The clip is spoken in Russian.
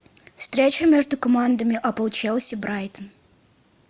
встречу между командами апл челси брайтон